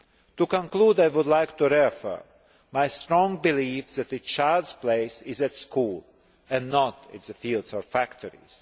To conclude, I would like to reaffirm my strong belief that a child's place is at school and not in the fields or factories.